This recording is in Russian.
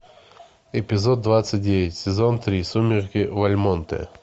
эпизод двадцать девять сезон три сумерки в вальмонте